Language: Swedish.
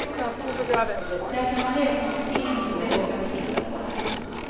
Där kan man läsa om film i stället för att titta på den.